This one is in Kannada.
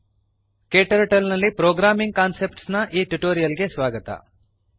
ಕ್ಟರ್ಟಲ್ ನಲ್ಲಿ ಪ್ರೋಗ್ರಾಮಿಂಗ್ ಕಾನ್ಸೆಪ್ಟ್ಸ್ ನ ಈ ಟ್ಯುಟೋರಿಯಲ್ ಗೆ ಸ್ವಾಗತ